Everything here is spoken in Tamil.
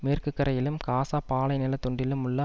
மேற்கு கரையிலும் காசா பாலை நில துண்டிலும் உள்ள